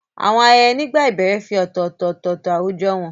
Àwọn ayẹyẹ nígbà ìbẹ̀rẹ̀ fi ọ̀tọ̀ọ̀tọ̀ ọ̀tọ̀ọ̀tọ̀ àwùjọ hàn.